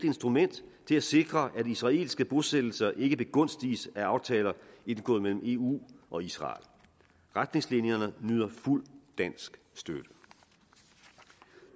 instrument til at sikre at israelske bosættelser ikke begunstiges af aftaler indgået mellem eu og israel retningslinjerne nyder fuldt dansk støtte